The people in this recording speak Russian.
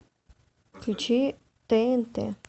включи тнт